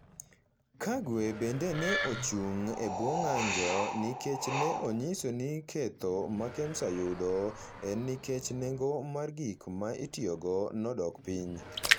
Kagwe bende ne ochung’ e bwo ng’anjo nikech ne onyiso ni ketho ma Kemsa yudo en nikech nengo mar gik ma itiyogo nodok piny.